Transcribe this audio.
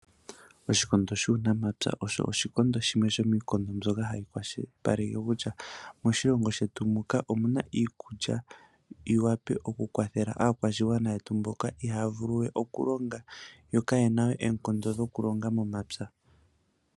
Oshikondo shuu namapya osho oshikondo shimwe shomiikondo mbyoka hayi kwashilipaleke kutya, moshilongo shetu muka omuna iikulya yiwape oku kwathela aakwashigwana yetu, mboka ihaya vulu we oku oku longa yo kayena we oonkondo dhoku longa momapya.